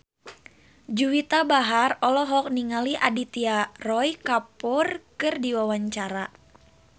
Juwita Bahar olohok ningali Aditya Roy Kapoor keur diwawancara